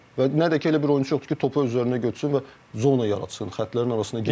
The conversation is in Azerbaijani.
və nə də ki elə bir oyunçu yoxdur ki, topu öz üzərinə götürsün və zona yaratsın, xətlərin arasına getsın.